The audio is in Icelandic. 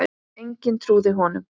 Enginn trúði honum.